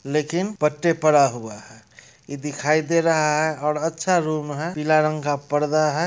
लेकिन पट्टे पड़ा हुआ है इ दिखाई दे रहा है और अच्छा रूम है पीला रंग का पर्दा है।